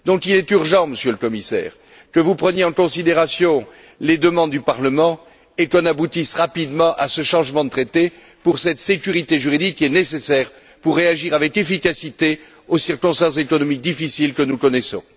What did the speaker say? Il est donc urgent, Monsieur le Commissaire, que vous preniez en considération les demandes du Parlement et que nous aboutissions rapidement à ce changement de traité pour cette sécurité juridique, qui est nécessaire pour réagir avec efficacité aux circonstances économiques difficiles que nous connaissons.